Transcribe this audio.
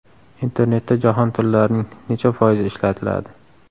Internetda jahon tillarining necha foizi ishlatiladi?.